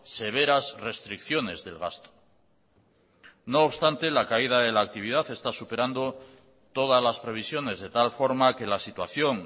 severas restricciones del gasto no obstante la caída de la actividad está superando todas las previsiones de tal forma que la situación